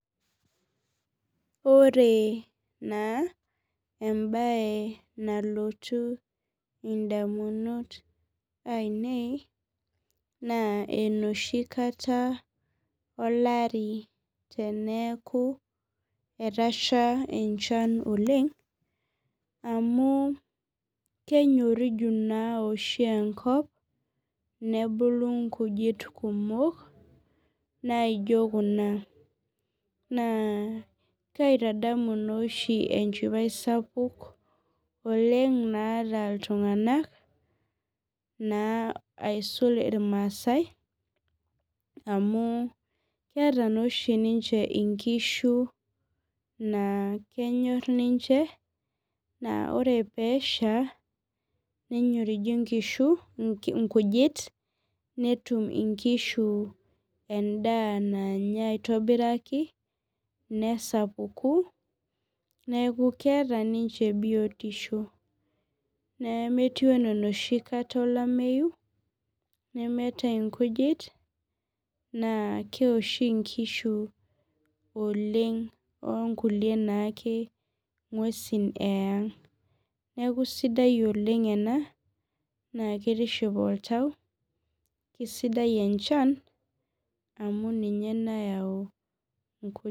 Ore na embae nalotu ndamunot ainei na enoshi kata olari teneaku etasha enchan oleng amu kenyoriju oshi enkop nebulu nkujit naijo kuna na kaitadamu oshi enchipae sapuk naata ltunganak aisul irmasaai amu keeta naoshi ninche nkishu nakenyor ninche kre pesha na kenyoriju nkujit netim nkishu endaa nanya nesapuku neaku keeta ninche biotisho, metiu ana enoshi olameyu nemeeta nkujit na keoshi nkishu onkulie kishu eang neaku sidai ena oleng ena na kitiship oltau nakesidai e chan amu ninye nayau nkujit.